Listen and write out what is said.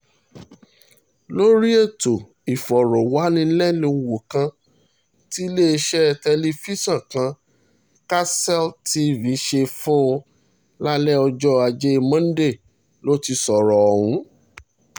lórí ètò ìfọ̀rọ̀wánilẹ́nuwò kan tilẹẹsẹ tẹlifíṣàn kan karcel tv ṣe fún un lálẹ́ ọjọ́ ajé monde ló ti sọ̀rọ̀ ọ̀hún